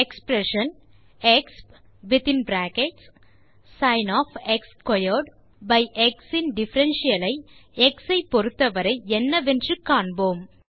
expression exp of pi x in differential i x i பொருத்த வரை என்னவென்று காண்போம்